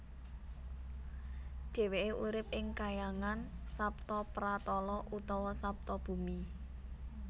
Dheweke urip ing kahyangan Saptapratala utawa Saptabumi